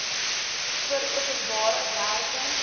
vir openbare werke